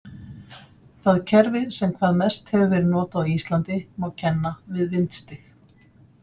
Það kerfi sem hvað mest hefur verið notað á Íslandi má kenna við vindstig.